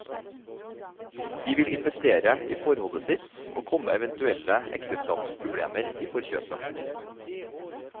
De vil investere i forholdet sitt, og komme eventuelle ekteskapsproblemer i forkjøpet.